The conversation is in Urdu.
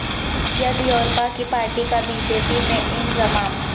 یدیورپا کی پارٹی کا بی جے پی میں انضمام